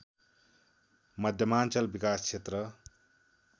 मध्यमाञ्चल विकास क्षेत्र